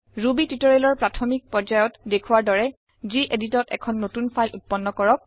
Ruby টিউটৰিয়েলৰ প্ৰাথমিক পৰ্যায়ত দেখোৱাৰ দৰে যিএদিটত এখন নতুন ফাইল উৎপন্ন কৰক